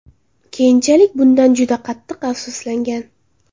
Keyinchalik bundan juda qattiq afsuslangan.